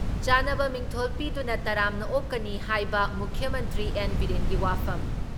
ꯆꯥꯟꯅꯕ ꯃꯤꯡꯊꯣꯜ ꯄꯤꯗꯨꯅ ꯇꯔꯥꯝꯅ ꯑꯣꯛꯀꯅꯤ ꯍꯥꯏꯕ ꯃꯨꯈ꯭ꯌ ꯃꯟꯇ꯭ꯔꯤ ꯑꯦꯟ. ꯕꯤꯔꯦꯟꯒꯤ ꯋꯥꯐꯝ